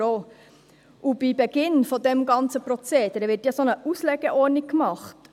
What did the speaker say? Bei Beginn des ganzen Prozederes wird eine Auslegeordnung gemacht.